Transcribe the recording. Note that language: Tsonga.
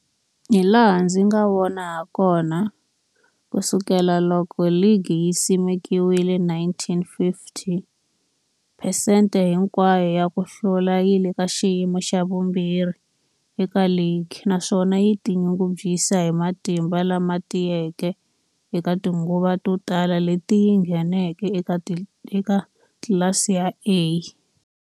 Hilaha ndzi nga vona hakona, ku sukela loko ligi yi simekiwile, 1950, phesente hinkwayo ya ku hlula yi le ka xiyimo xa vumbirhi eka ligi, naswona yi tinyungubyisa hi matimba lama tiyeke eka tinguva to tala leti yi ngheneke eka tlilasi ya A.